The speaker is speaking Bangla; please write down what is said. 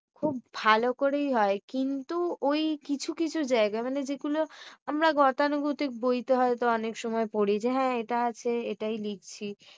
খুব ভালো করেই হয়। কিন্তু ওই কিছু কিছু জায়গায় মানে যেগুলো আমরা গতানুগতিক বইতে হয়তো অনেক সময় পড়ি যে হ্যাঁ এটা আছে এটাই লিখছি